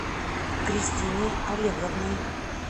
кристиной олеговной